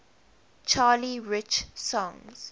charlie rich songs